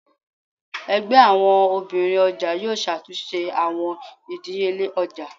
Ẹgbẹ àwọn obìnrin ọjà yóò ṣàtúnṣe àwọn ìdíyelé ọjà.